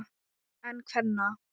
En kvenna?